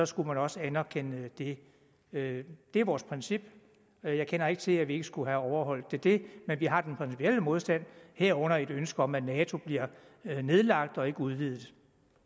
skulle man også anerkende det det er vores princip jeg kender ikke til at vi ikke skulle have overholdt det det men vi har den principielle modstand herunder et ønske om at nato bliver nedlagt og ikke udvidet